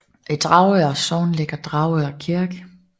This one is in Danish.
I Dragør Sogn ligger Dragør Kirke